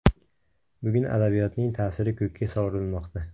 Bugun adabiyotning ta’siri ko‘kka sovurilmoqda.